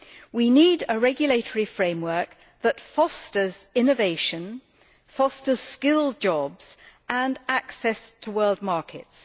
We need a regulatory framework that fosters innovation, skilled jobs and access to world markets.